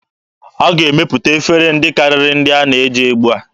A ga-emepụta efere ndị karịrị ndị a na-eji ugbua.